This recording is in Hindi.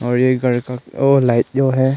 अलीगढ़ का अ लाइट जो है--